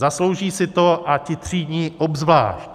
Zaslouží si to, a ti třídní obzvlášť.